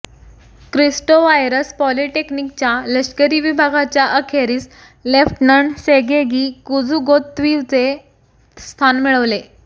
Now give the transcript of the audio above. क्रिस्टोवायारस् पॉलीटेक्निकच्या लष्करी विभागाच्या अखेरीस लेफ्टनंट सेगेगी कुझुगोत्व्हिचे स्थान मिळवले